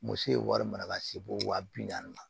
Muso ye wari mara ka se fo wa bi naani ma